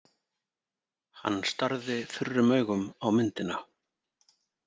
Hann starði þurrum augum á myndina.